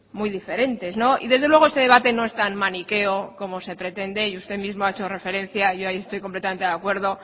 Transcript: muy diferentes y desde luego este debate no es tan maniqueo como se pretende y usted mismo ha hecho referencia yo ahí estoy completamente de acuerdo